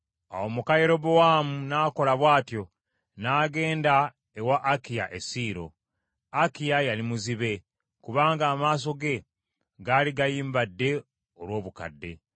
Awo muka Yerobowaamu n’akola bw’atyo, n’agenda ewa Akiya e Siiro. Akiya yali muzibe, kubanga amaaso ge gaali gayimbadde olw’obukadde.